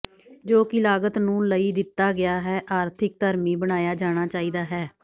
ਜੋ ਕਿ ਲਾਗਤ ਨੂੰ ਲਈ ਦਿੱਤਾ ਗਿਆ ਹੈ ਆਰਥਿਕ ਧਰਮੀ ਬਣਾਇਆ ਜਾਣਾ ਚਾਹੀਦਾ ਹੈ